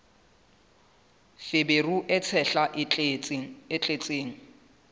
feberu e tshehla e tletseng